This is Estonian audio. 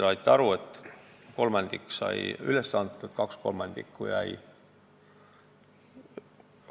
Nagu te aru saite, tahetust kolmandik sai edasi antud, kaks kolmandikku jäi andmata.